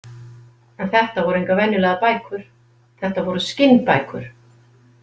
En þetta voru engar venjulegar bækur, þetta voru skinnbækur.